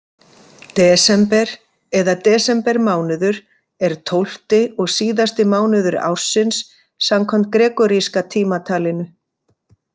Desember eða desembermánuður er tólfti og síðasti mánuður ársins samkvæmt gregoríska tímatalinu.